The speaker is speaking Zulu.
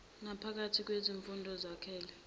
naphakathi kwezifunda ezakhele